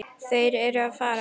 Þeir eru að fara.